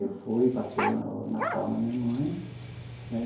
Eu fui, passei o o Natal na minha mãe né.